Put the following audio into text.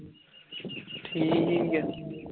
ਠੀਕ ਐ